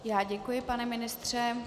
Já děkuji, pane ministře.